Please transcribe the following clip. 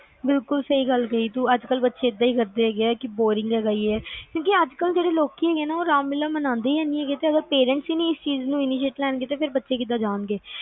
ਬਿਲਕੁਲ ਸਹੀ ਗੱਲ ਕਹੀ ਆ ਤੂੰ ਅੱਜ ਕੱਲ ਬੱਚੇ ਏਦਾਂ ਏ ਕਰਦੇ ਆ ਕਿ ਬੋਰਿੰਗ ਏ ਕਿਉਂਕ ਅੱਜ ਕੱਲ ਲੋਕ ਰਾਮਲੀਲਾ ਮਨਾਂਦੇ ਈ ਨੀ ਗੇ ਜਦੋ parents ਈ ਨੀ ਇਸ ਚੀਜ਼ ਨੂੰ initiate ਲੈਣ ਗੇ, ਬੱਚੇ ਕਿਦਾਂ ਜਾਣਗੇ